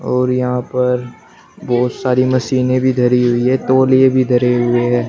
और यहां पर बहुत सारी मशीनें भी धरी हुई है तौलिए भी धरे हुए है।